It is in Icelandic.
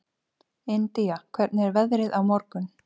Indía, hvernig er veðrið á morgun?